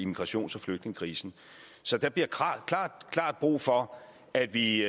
migrations og flygtningekrisen så der bliver klart brug for at vi